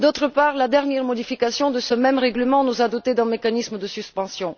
Par ailleurs, la dernière modification de ce même règlement nous a dotés d'un mécanisme de suspension.